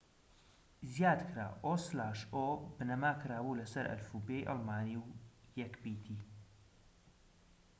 بنەما کرابوو لەسەر ئەلفوبێی ئەڵمانی و یەک پیتی õ/õ زیاد کرا